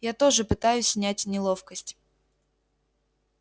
я тоже пытаюсь снять неловкость